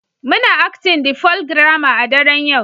Muna Acting the Folk drama a daren yau